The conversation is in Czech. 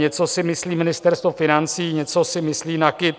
Něco si myslí Ministerstvo financí, něco si myslí NAKIT.